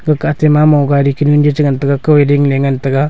ma mo gari kenu chengan taga kaw dingley ngan taga.